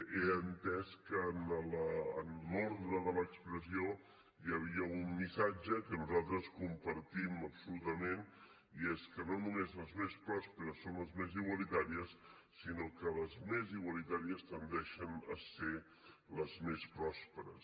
he entès que en l’ordre de l’expressió hi havia un missatge que nosaltres compartim absolutament i és que no només les més pròsperes són les més igualitàries sinó que les més igualitàries tendeixen a ser les més pròsperes